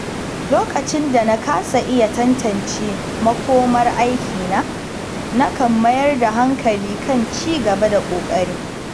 Lokacin da na kasa iya tantance makomar aikina, nakan mayar da hankali kan ci gaba da ƙoƙari.